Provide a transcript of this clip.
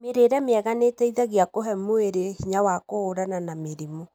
Mĩrĩĩre mĩega nĩĩteithagia kũhee mwĩri hinya wa kũhũrana na mĩrimũ.